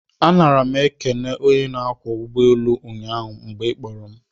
A nara m ekele onye na-anya ụgbọelu ụnyaahụ mgbe ị kpọrọ m